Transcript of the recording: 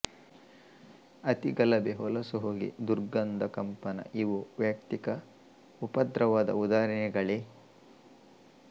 ಅತಿ ಗಲಭೆ ಹೊಲಸು ಹೊಗೆ ದುರ್ಗಂಧ ಕಂಪನಇವೂ ವೈಯುಕ್ತಿಕ ಉಪದ್ರವದ ಉದಾಹರಣೆಗಳೆ